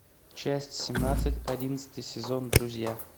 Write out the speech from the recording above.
часть семнадцать одиннадцатый сезон друзья